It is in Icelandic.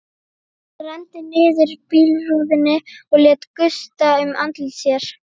Hann renndi niður bílrúðunni og lét gusta um andlit sér.